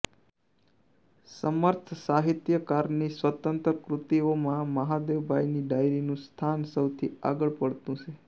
સમર્થ સાહિત્યકારની સ્વતંત્ર કૃતિઓમાં મહાદેવભાઈની ડાયરીનું સ્થાન સૌથી આગળ પડતું છે